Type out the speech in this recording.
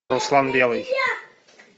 руслан белый